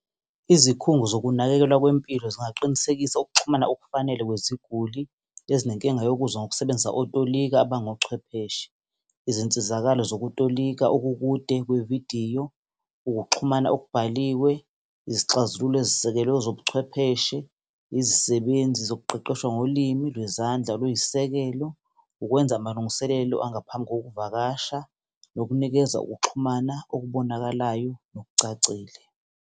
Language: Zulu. Izikhungo zokunakekelwa kwempilo zingaqinisekisa ukuxhumana okufanele kweziguli ezinenkinga yokuzwa, ngokusebenzisa otolika abangochwepheshe, izinsizakalo zokutolika okukude kwevidiyo, ukuxhumana okubhaliwe, izixazululo ezisisekelwe ezobuchwepheshe, izisebenzi zokuqeqesha ngolimi lwezandla oluyisisekelo, ukwenza amalungiselelo angaphambi ngokuvakasha, nokunikeza ukuxhumana okubonakalayo nokucacile.